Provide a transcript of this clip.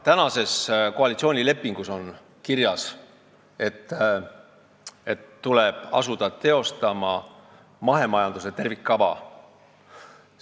Praeguses koalitsioonilepingus on kirjas, et tuleb asuda mahemajanduse tervikkava teostama.